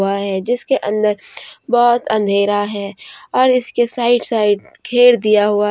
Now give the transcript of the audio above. है जिसके अंदर बहोत अंधेरा है और इसके साइड साइड घेर दिया हुआ--